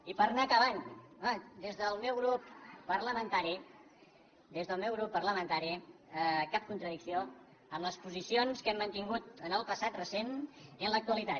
i per anar acabant home des del meu grup parlamentari des del meu grup parlamentari cap contradicció amb les posicions que hem mantingut en el passat recent i en l’actualitat